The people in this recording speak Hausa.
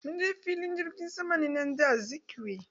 Munje filin jirgin saman nnamdi Azikiwe.